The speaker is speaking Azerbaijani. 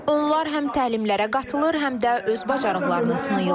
Onlar həm təlimlərə qatılır, həm də öz bacarıqlarını sınayırlar.